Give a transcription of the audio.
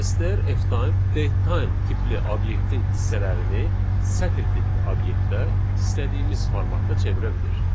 STRFtime datetime tipli obyektin hissələrini sətr tipli obyektə istədiyimiz formatda çevirə bilir.